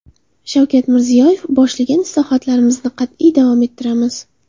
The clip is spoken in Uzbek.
Shavkat Mirziyoyev: Boshlagan islohotlarimizni qat’iy davom ettiramiz.